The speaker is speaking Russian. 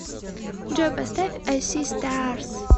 джой поставь ай си старс